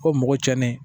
Ko mɔgɔ tiɲɛnen